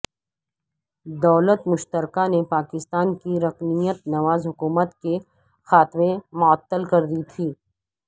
دولت مشترکہ نے پاکستان کی رکنیت نواز حکومت کے خاتمے معطل کر دی تھی